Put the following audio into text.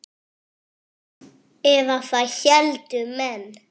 Eða það héldu menn.